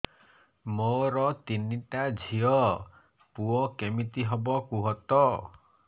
ମୋର ତିନିଟା ଝିଅ ପୁଅ କେମିତି ହବ କୁହତ